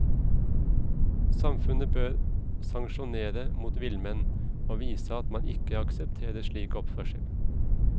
Samfunnet bør sanksjonere mot villmenn, og vise at man ikke aksepterer slik oppførsel.